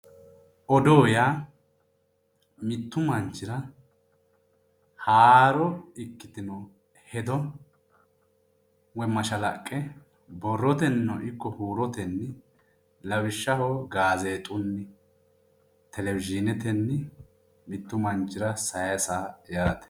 Odoo yaa mittu manichira haaro ikkitino hedo woyi mashalaqqe borroteniino ikko huurotenni lawishshaho gaazexunni televisionetenni mittu manichira sayisa yaate